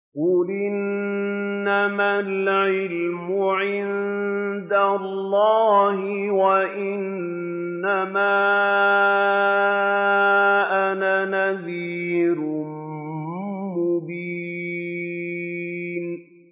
قُلْ إِنَّمَا الْعِلْمُ عِندَ اللَّهِ وَإِنَّمَا أَنَا نَذِيرٌ مُّبِينٌ